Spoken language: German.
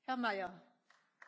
Frau Präsidentin!